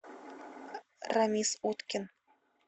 рамис уткин